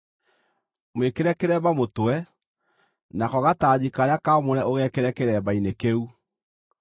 Mwĩkĩre kĩremba mũtwe, nako gatanji karĩa kaamũre ũgekĩre kĩremba-inĩ kĩu.